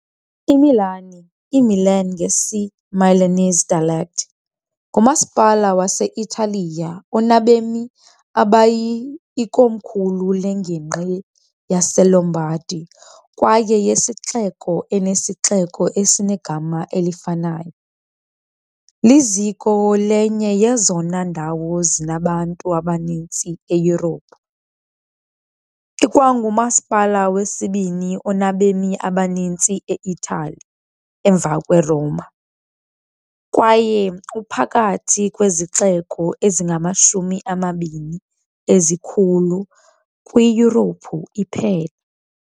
IMilan, "iMilan" ngesiMilanese dialect, ngumasipala wase-Italiya onabemi abayi, ikomkhulu lengingqi yaseLombardy kwaye yesixeko esinesixeko esinegama elifanayo, liziko lenye yezona ndawo zinabantu abaninzi eYurophu, ikwangumasipala wesibini onabemi abaninzi e-Itali, emva kweRoma, kwaye uphakathi kwezixeko ezingamashumi amabini ezikhulu kwiYurophu iphela.